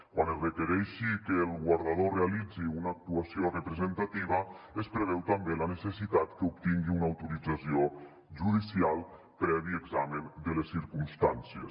quan es requereixi que el guardador realitzi una actuació representativa es preveu també la necessitat que obtingui una autorització judicial previ examen de les circumstàncies